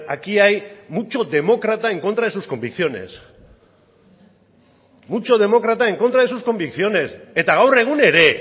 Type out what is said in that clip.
aquí hay mucho demócrata en contra de sus convicciones mucho demócrata en contra de sus convicciones eta gaur egun ere